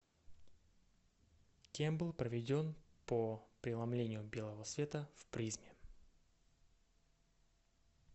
кем был проведен по преломлению белого света в призме